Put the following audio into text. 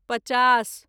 पचास